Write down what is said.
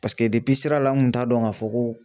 Paseke sira la n kun t'a dɔn k'a fɔ ko